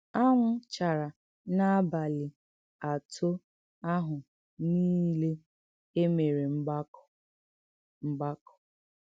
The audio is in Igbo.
Ànwụ́ chàrā n’ábàlị àtò àhụ̀ nìlè e mèré mgbàkọ̀. mgbàkọ̀.